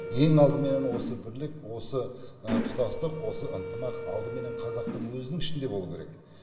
ең алдыменен осы бірлік осы тұтастық осы ынтымақ алдыменен қазақтың өзінің ішінде болуы керек